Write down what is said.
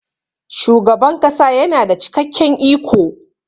shugaban kasa yana da cikakken iko